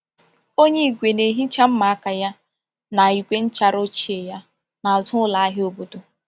Onye igwe na-ehicha mma aka ya na igwe nchara ochie ya n’azụ ụlọ ahịa obodo.